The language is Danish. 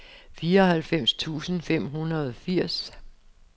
fireoghalvfems tusind fem hundrede og firs